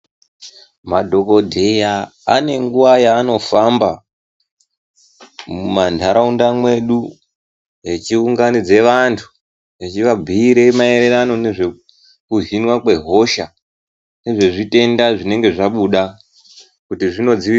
Madhokodheya ane nguwa yanofamba mumanharaunda mwedu echiunganidza vantu echivabhuire maererano nezvekuhinwa kwehosha nezvezvitenda zvinenge zvabuda kuti zvinodzi.